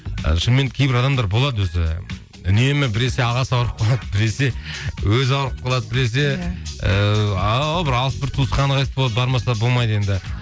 ы шынымен кейбір адамдар болады өзі үнемі біресе ағасы ауырып қалады біресе өзі ауырып қалады біресе ыыы ау бір алыс туысқаны қайтыс болады бармаса болмайды енді